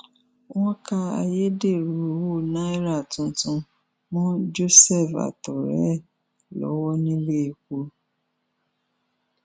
wọn ka ayédèrú owó náírà tuntun mọ joseph àtọrẹ ẹ lọwọ nílẹẹpọ